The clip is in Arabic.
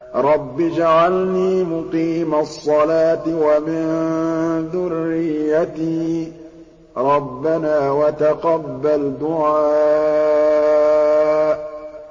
رَبِّ اجْعَلْنِي مُقِيمَ الصَّلَاةِ وَمِن ذُرِّيَّتِي ۚ رَبَّنَا وَتَقَبَّلْ دُعَاءِ